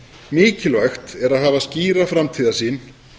mikilvægt er að hafa skýra framtíðarsýn